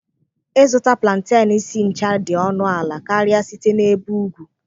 Ịzụta plantain si ncha dị ọnụ ala karịa site n'ebe ugwu.